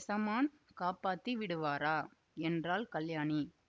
எசமான் காப்பாத்தி விடுவாரா என்றாள் கல்யாணி